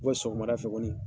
sɔgɔmada fɛ kɔni